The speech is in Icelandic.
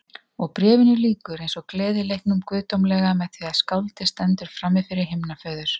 Og Bréfinu lýkur eins og Gleðileiknum guðdómlega með því að skáldið stendur frammifyrir himnaföður.